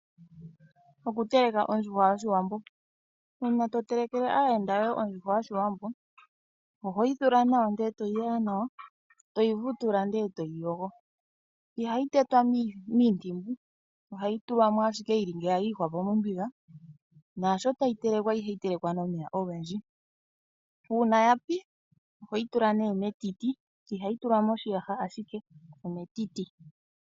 Okuteleka ondjuhwa yOshiwambo. Uuna to telekele aayenda yoye ondjuhwa yOshiwambo, ohoyi thula nawa ndele toyi wawa nawa, toyi vutula nde toyi yogo. Ihayi tetwa miintimbu, ohayi tulwa mo ashike yili ngaashi yili yiihwapo mombiga. Naashi tayi telekwa ihayi telekwa nomeya ogendji. Uuna ya pi ohoyi tula nee metiti, ihayi tulwa moshiyaha ashike ometiti.